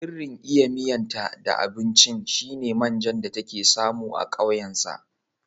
Sirrin iya miyan ta da abunci shine manjan da take samu a ƙauyen sa